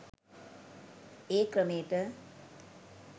ඒ ක්‍රමේට